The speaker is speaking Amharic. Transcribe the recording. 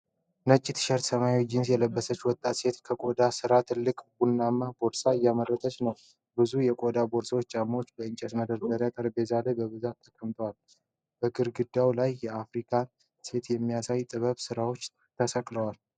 ነጭ ቲሸርትና ሰማያዊ ጂንስ የለበሰች ወጣት ሴት ከቆዳ የተሰራ ትልቅ ቡናማ ቦርሳ እየመረመረች ነው። ብዙ የቆዳ ቦርሳዎችና ጫማዎች በእንጨት መደርደሪያዎችና ጠረጴዛ ላይ በብዛት ተቀምጠዋል። በግድግዳው ላይ የአፍሪካን ሴት የሚያሳዩ ጥበብ ስራዎች ተሰቅለዋል።